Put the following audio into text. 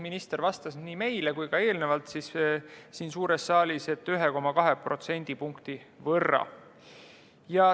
Minister vastas nii meile kui ka eelnevalt siin suures saalis, et 1,2% võrra.